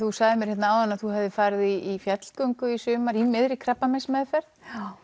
þú sagðir mér hérna áðan að þú hafir farið í fjallgöngu í sumar í miðri krabbameinsmeðferð